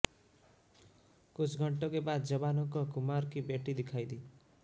कुछ घंटों के बाद जवानों को कुमार की बेटी दिखाई दी